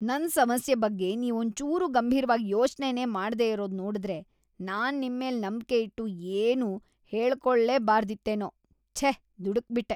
ನನ್‌ ಸಮಸ್ಯೆ ಬಗ್ಗೆ ನೀವೊಂಚೂರೂ ಗಂಭೀರ್ವಾಗ್‌ ಯೋಚ್ನೆನೇ ಮಾಡ್ದೆರೋದ್‌ ನೋಡುದ್ರೆ ನಾನ್‌ ನಿಮ್ಮೇಲ್‌ ನಂಬ್ಕೆ ಇಟ್ಟು ಏನ್ನೂ ಹೇಳ್ಕೊಳ್ಲೇಬಾರ್ದಿತ್ತೇನೋ, ಛೇ ದುಡುಕ್ಬಿಟ್ಟೆ.